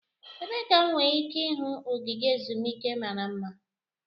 Ebee ka m nwere ike ịhụ ogige ezumike mara mma?